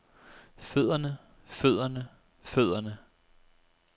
fødderne fødderne fødderne